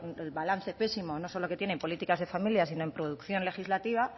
el balance pésimo no solo que tiene en políticas de familia sino en producción legislativa